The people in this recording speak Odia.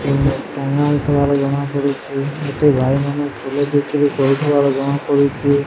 ଏଠି ଭାଇମାନେ ଫୁଲ ବିକ୍ରି କରୁଥିବାର ଜଣାପଡୁଚି ।